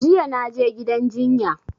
Jiya na je gidan jinya